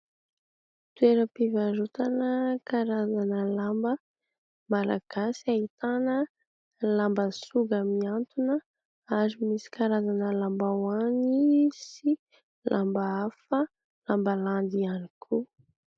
Toeram-pivarotana karazana lamba malagasy, ahitana lamba soga mihantona ary misy karazana lambahoany sy lamba hafa, lamba landy ihany koa.